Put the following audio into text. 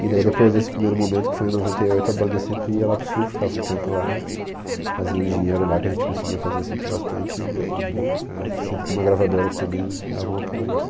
E daí depois desse primeiro momento, que foi em noventa e oito, a banda sempre ia lá para o Sul, ficava um tempo lá, fazia um dinheiro lá, que a gente conseguia fazer sempre bastante, e aí vinha para cá, sempre com uma gravadora que também dava um apoio, assim.